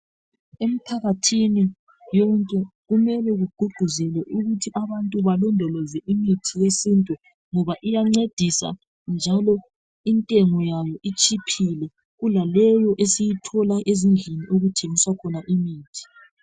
Emphakathini womuntu kumele kugqugquzelwe ukuthi abantu balondoloze imithi yesintu ngoba iyancedisa njalo intengo yayo itshiphile kulaleyo esiyithola ezindlini okuthengiswa khona imithi.